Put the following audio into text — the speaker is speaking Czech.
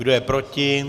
Kdo je proti?